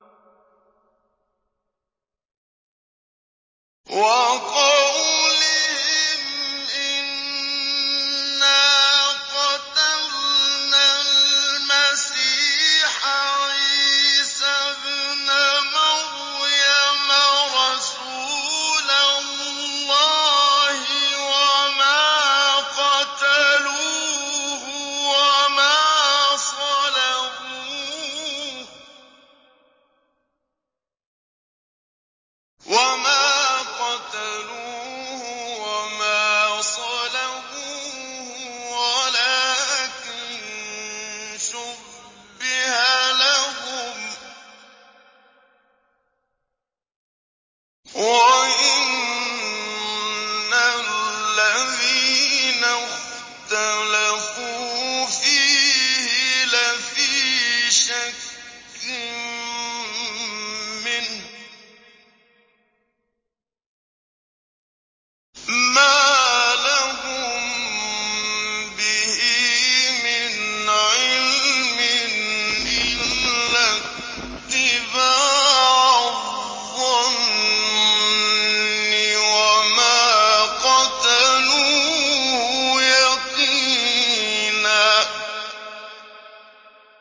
وَقَوْلِهِمْ إِنَّا قَتَلْنَا الْمَسِيحَ عِيسَى ابْنَ مَرْيَمَ رَسُولَ اللَّهِ وَمَا قَتَلُوهُ وَمَا صَلَبُوهُ وَلَٰكِن شُبِّهَ لَهُمْ ۚ وَإِنَّ الَّذِينَ اخْتَلَفُوا فِيهِ لَفِي شَكٍّ مِّنْهُ ۚ مَا لَهُم بِهِ مِنْ عِلْمٍ إِلَّا اتِّبَاعَ الظَّنِّ ۚ وَمَا قَتَلُوهُ يَقِينًا